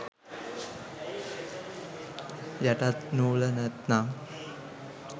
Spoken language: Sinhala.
යටත් නූල නැත්නම්